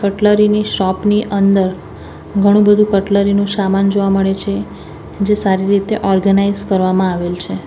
Cutlery ની shop ની અંદર ઘણું બધું કટલેરી નું સામાન જોવા મળે છે જે સારી રીતે ઓર્ગેનાઈઝ કરવામાં આવેલ છે.